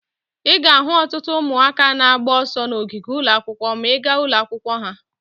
Ị ga-ahụ ọtụtụ ụmụaka na-agba ọsọ n'ogige ụlọ akwụkwọ ma ị gaa ụlọ akwụkwọ ha.